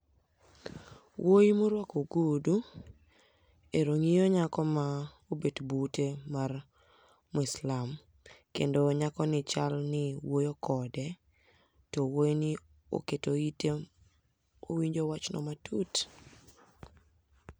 Wuoyi moruako ogudu ero ng'iyo nyako maobet bute mar muislam, kendo nyakoni chalni wuoyo kode to wuoyi ni oketo ite owinjo wachno matut.